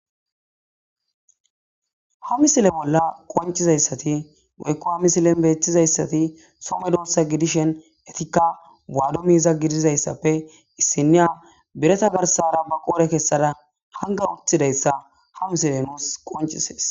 Ha misile bolla qoncizayssati goykko ha misilen beetizayssati some doossa gidishen etikka waado miiza gidizayssappe issinniya bireta garsara ba qoore kessada hanga uthidayssa ha misile nuus qoncisees.